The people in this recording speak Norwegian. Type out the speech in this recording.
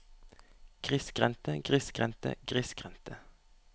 grissgrendte grissgrendte grissgrendte